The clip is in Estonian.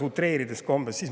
Utreerides.